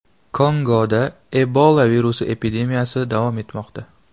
Kongoda Ebola virusi epidemiyasi davom etmoqda.